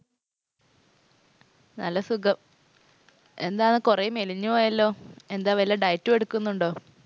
നല്ല സുഖം. എന്താണ് കുറെ മെലിഞ്ഞു പോയല്ലോ? എന്താ വല്ല diet ഉം എടുക്കുന്നുണ്ടോ?